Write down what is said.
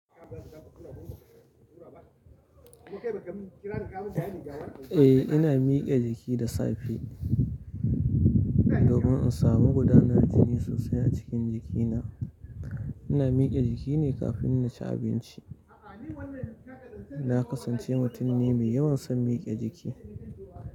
Eh ina mike jiki da safe domin in samu gudanar jini sosai a cikin jikina. Ina mike jiki ne kafin na ci abinci. Na kasance mutum me yawan son mike jiki.